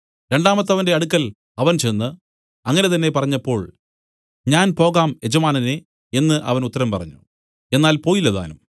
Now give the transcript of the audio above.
രണ്ടാമത്തവന്റെ അടുക്കൽ അവൻ ചെന്ന് അങ്ങനെ തന്നെ പറഞ്ഞപ്പോൾ ഞാൻ പോകാം യജമാനനേ എന്നു അവൻ ഉത്തരം പറഞ്ഞു എന്നാൽ പോയില്ലതാനും